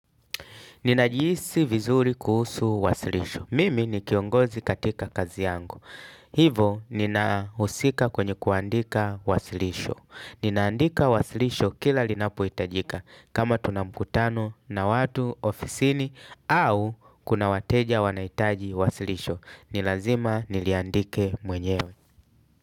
Ninajihisi vizuri kuhusu wasilisho. Mimi ni kiongozi katika kazi yangu. Hivo ninahusika kwenye kuandika wasilisho. Ninaandika wasilisho kila linapohitajika. Kama tuna mkutano na watu ofisini au kuna wateja wanahitaji wasilisho. Nilazima niliandike mwenyewe.